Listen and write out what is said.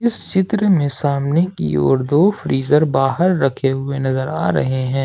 इस चित्र में सामने की ओर दो फ्रीजर बाहर रखे हुए नजर आ रहे हैं ।